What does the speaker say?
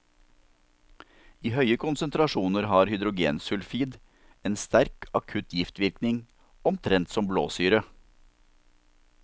I høye konsentrasjoner har hydrogensulfid en sterk akutt giftvirkning, omtrent som blåsyre.